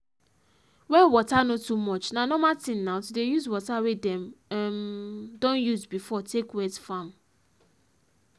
when water no too much na normal thing now to dey use water wey dem um don use before take wet farm